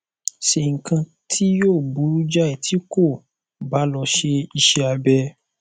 ṣe nǹkan tí yóò burú jáì tí kò bá lọ ṣáájú iṣẹ abẹ